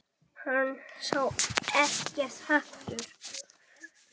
Hann sá ekkert hatur.